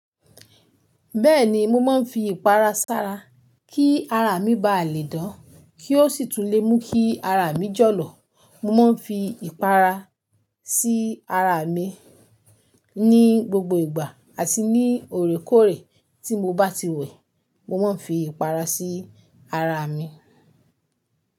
Bẹ́ẹ̀ni, mo máa ń fi ìpara sára kí ara mi ba le dán, kí ó sì tun le mú kí ara mi jọ̀lọ̀. Mo máa ń fi ìpara sí ara mi ní gbogbo ìgbà àti ní òorékoòré tí mo bá ti wẹ̀, mo máa ń fi ìpara sí ara mi.